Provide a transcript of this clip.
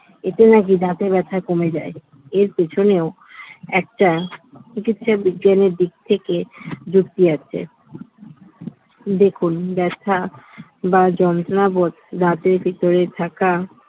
এতে নাকি দাঁতে ব্যথা কমে যায় এর পেছনেও একটা চিকিৎসা বিজ্ঞানের দিক থেকে যুক্তি আছে দেখুন ব্যথা বা যন্ত্রণা বোধ দাঁতের ভিতরে থাকা